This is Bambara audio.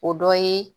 O dɔ ye